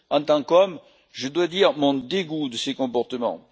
En tant qu'homme, je dois dire mon dégoût de ces comportements.